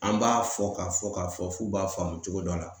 An b'a fɔ k'a fɔ k'a fɔ f'u b'a faamu cogo dɔ la